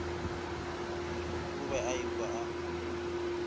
o be a ikwa a